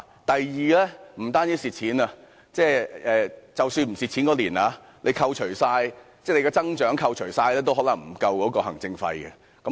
第二，不單是虧損，即使該年度沒有虧損，所得增長也可能無法支付行政費。